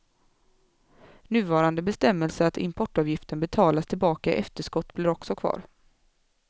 Nuvarande bestämmelse att importavgiften betalas tillbaka i efterskott blir också kvar.